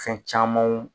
Fɛn camanw